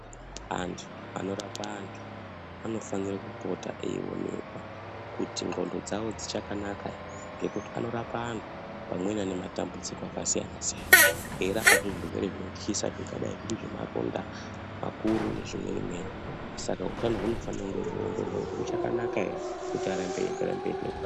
Antu anorapa antu anofanire kupota eionekwa kuti ndxondo dzavo dzichakanaka here ngekuti anorapa antu amweni ane matambudziko akasiyana-siyanaa eirapazve zvirwere zvinotyisa zvingadai zviri zvemaronda makuru nezvimweni-mweni. Saka utano hunofanira kunge hweiongororwa kuti huchakanaka here kuti arambe eienderera mberi nebasa.